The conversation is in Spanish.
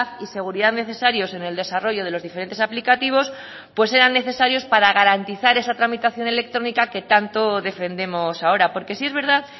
y seguridad necesarios en el desarrollo de los diferentes aplicativos pues eran necesarios para garantizar esa tramitación electrónica que tanto defendemos ahora porque sí es verdad